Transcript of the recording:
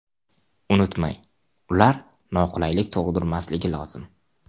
Unutmang, ular noqulaylik tug‘dirmasligi lozim.